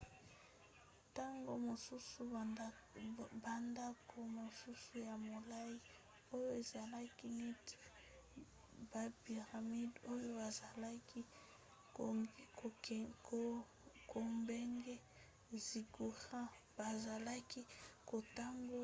ntango mosusu bandako mosusu ya molai oyo ezalaki neti bapiramide oyo bazalaki kobenga ziggurats bazalaki kotonga yango mpo ezala eteni ya batempelo